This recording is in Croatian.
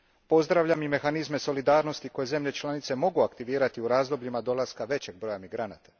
Pozdravljam i mehanizme solidarnosti koje zemlje članice mogu aktivirati u razdobljima dolaska većeg broja migranta.